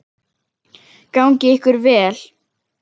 Gangi ykkur vel.